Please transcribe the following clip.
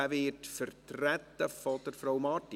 Dieser wird vertreten von Frau Marti.